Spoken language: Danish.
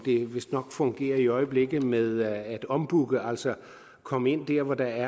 vistnok fungerer i øjeblikket med at ombooke altså komme ind der hvor der